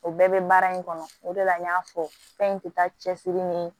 O bɛɛ bɛ baara in kɔnɔ o de la n y'a fɔ fɛn in tɛ taa cɛsiri ni